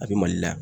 A bɛ mali la